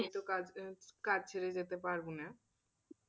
কাজ ছেড়ে যেতে পারবো না।